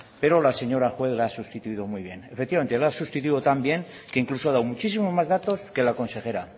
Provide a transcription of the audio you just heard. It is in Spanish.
pero la señora juez la ha sustituido muy bien efectivamente la ha sustituido tan bien que incluso ha dado muchísimos más datos que la consejera